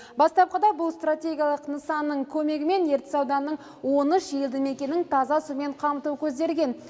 бастапқыда бұл стратегиялық нысанның көмегімен ертіс ауданының он үш елді мекенін таза сумен қамту көзделген